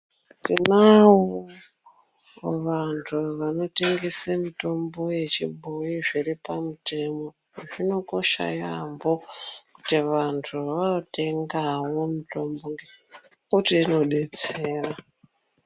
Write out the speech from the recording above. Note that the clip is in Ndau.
Tinawo vantu vanotengese mitombo yechibhoyi zviri pamutemo, zvinokosha yaambo kuti vantu vanotengawo mitombo iyi nekuti inodetsera.